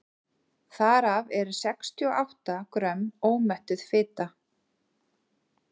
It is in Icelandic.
þar af eru sextíu og átta grömm ómettuð fita